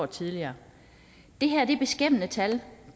tidligere det her er beskæmmende tal